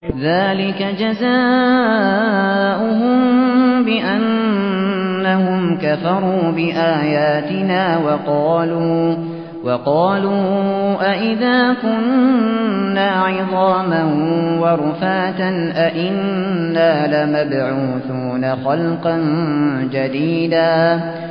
ذَٰلِكَ جَزَاؤُهُم بِأَنَّهُمْ كَفَرُوا بِآيَاتِنَا وَقَالُوا أَإِذَا كُنَّا عِظَامًا وَرُفَاتًا أَإِنَّا لَمَبْعُوثُونَ خَلْقًا جَدِيدًا